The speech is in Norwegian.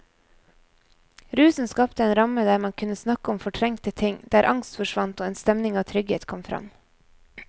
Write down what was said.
Rusen skapte en ramme der man kunne snakke om fortrengte ting, der angst forsvant og en stemning av trygghet kom fram.